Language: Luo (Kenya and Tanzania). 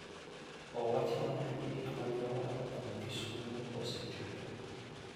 owachna ni gik mane awaro kuom kisumo osechopo